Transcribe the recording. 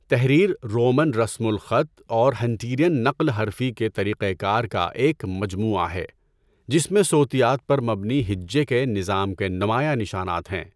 تحریر رومن رسم الخط اور ہنٹیرین نقل حرفی کے طریقہ کار کا ایک مجموعہ ہے جس میں صوتیات پر مبنی ہجے کے نظام کے نمایاں نشانات ہیں۔